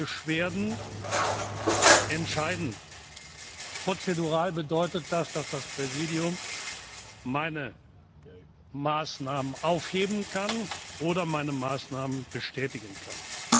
Beschwerden entscheiden. Prozedural bedeutet das, dass das Präsidium meine Maßnahmen aufheben kann oder meine Maßnahmen bestätigen